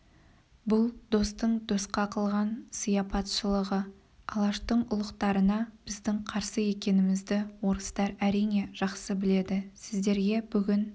бұл достың досқа қылған сияпатшылығы алаштың ұлықтарына біздің қарсы екенімізді орыстар әрине жақсы біледі сіздерге бүгін